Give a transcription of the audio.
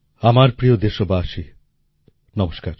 আমার প্রিয় দেশবাসী নমস্কার